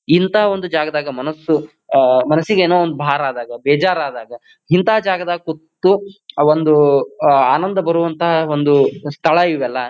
ಇಂಥ ಒಂದು ಜಗದಾಗ ಮನಸ್ಸು ಆಹ್ಹ್ ಮನಸಿಗೆ ಏನೋ ಒಂದು ಭಾರ ಆದಾಗ ಬೇಜಾರ್ ಆದಾಗ ಇಂಥ ಜಾಗಾದಾಗ ಕುಂತು ಒಂದು ಆ ಒಂದು ಆನಂದ ಬರುವಂಥ ಒಂದು ಸ್ಥಳ ಇವೆಲ್ಲ.